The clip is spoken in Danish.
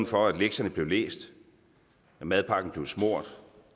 for at lektierne blev læst og at madpakken blev smurt